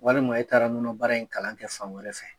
Walima e taara nɔnɔ baara in kalan kɛ fan wɛrɛ fɛ.